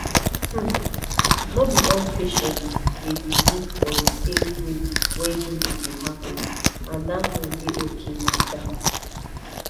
uhm no be all patients dey believe for the same way wey healing dey happen and that one dey okay like that